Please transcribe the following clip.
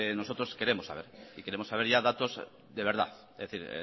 nosotros queremos saber y queremos saber datos ya de verdad es decir